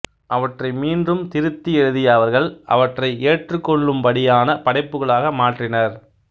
அவற்றை மீண்டும் திருத்தி எழுதிய அவர்கள் அவற்றை ஏற்றுக்கொள்ளும்படியான படைப்புகளாக மாற்றினர்